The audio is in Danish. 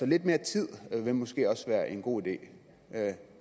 lidt mere tid ville måske også være en god idé